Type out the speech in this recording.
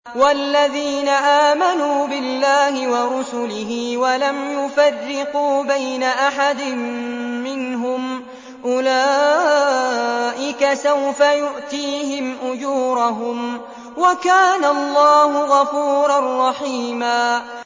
وَالَّذِينَ آمَنُوا بِاللَّهِ وَرُسُلِهِ وَلَمْ يُفَرِّقُوا بَيْنَ أَحَدٍ مِّنْهُمْ أُولَٰئِكَ سَوْفَ يُؤْتِيهِمْ أُجُورَهُمْ ۗ وَكَانَ اللَّهُ غَفُورًا رَّحِيمًا